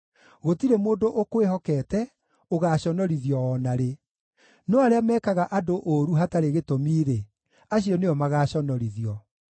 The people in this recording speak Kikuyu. Gũtirĩ mũndũ ũkwĩhokete ũgaaconorithio o na rĩ, no arĩa mekaga andũ ũũru hatarĩ gĩtũmi-rĩ, acio nĩo magaconorithio.